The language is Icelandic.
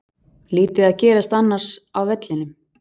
Lítið að gerast annars á vellinum.